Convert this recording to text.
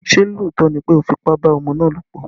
Ṣé lóòótọ́ ni pé o fipá bá ọmọ náà lòpọ̀?